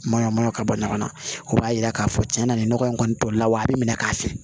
Mana mana ka bɔ ɲɔgɔn na o b'a yira k'a fɔ cɛn na nin nɔgɔ in kɔni tɔli la wa a bi minɛ k'a fiyɛ